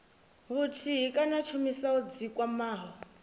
vhuthihi kana tshumisano dzi kwamaho